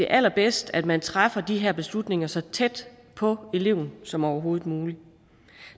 allerbedst at man træffer de her beslutninger så tæt på eleven som overhovedet muligt